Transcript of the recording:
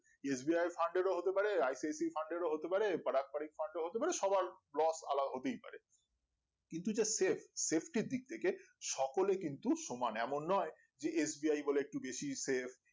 sbi fund এরও হতে পারে ipsb fund এরও হতে পারে পারাক পারিক fund এরও হতে পারে সবার loss হতেই আলাদা পারে কিন্তু যে save save টির দিক থেকে সকলে কিন্তু সমান এমন নোই যে SBI বলে একটু বেশি save